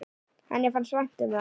Henni fannst vænt um það.